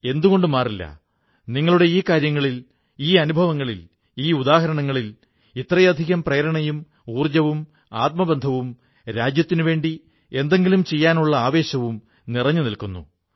എന്തുകൊണ്ട് മാറില്ല നിങ്ങളുടെ ഈ കാര്യങ്ങളിൽ ഈ അനുഭവങ്ങളിൽ ഈ ഉദാഹരണങ്ങളിൽ ഇത്രയധികം പ്രേരണയും ഊർജ്ജവും ആത്മബന്ധവും രാജ്യത്തിനുവേണ്ടി എന്തെങ്കിലും ചെയ്യാനുള്ള ആവേശവും നിറഞ്ഞുനിൽക്കുന്നു